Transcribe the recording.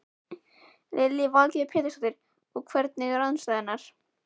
Lillý Valgerður Pétursdóttir: Og hvernig eru aðstæður?